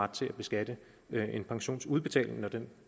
til at beskatte en pensionsudbetaling når den